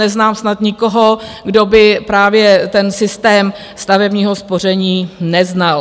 Neznám snad nikoho, kdo by právě ten systém stavebního spoření neznal.